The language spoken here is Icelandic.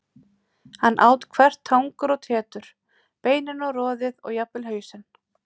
Hann át hvert tangur og tetur, beinin og roðið og jafnvel hausinn.